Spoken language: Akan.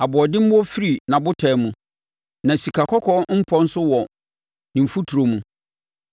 aboɔdemmoɔ firi nʼabotan mu na sikakɔkɔɔ mpɔ nso wɔ ne mfuturo mu.